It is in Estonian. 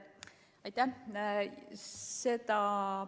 Aitäh!